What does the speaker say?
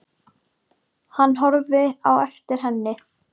Hann horfði á eftir henni inn.